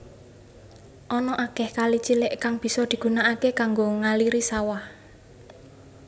Ana akeh kali cilik kang bisa digunakake kanggo ngaliri sawah